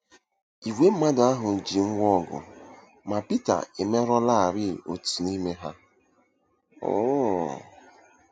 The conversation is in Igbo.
Ìgwè mmadụ ahụ ji ngwá ọgụ, ma Pita emerụlarị otu n'ime ha. um